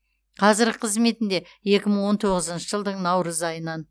қазіргі қызметінде екі мың он тоғызыншы жылдың наурыз айынан